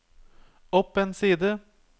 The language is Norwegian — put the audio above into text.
opp en side